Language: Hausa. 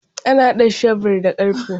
Ana hada shebur da karfe.